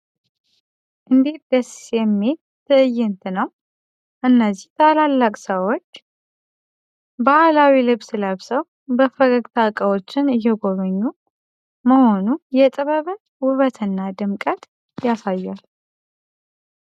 እንዴት ያለ ደስ የሚል ትዕይንት ነው! እነዚህ ታላላቅ ሰዎች! ባህላዊ ልብስ ለብሰው፣ በፈገግታ እቃዎችን እየጎበኙ መሆኑ የጥበብን ውበትና ድምቀት ያሳያል!